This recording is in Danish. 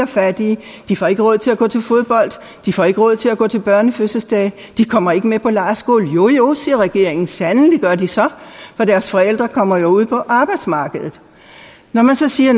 fattige de får ikke råd til at gå til fodbold de får ikke råd til at gå til børnefødselsdage de kommer ikke med på lejrskole jo jo siger regeringen sandelig gør de så for deres forældre kommer jo ud på arbejdsmarkedet når man så siger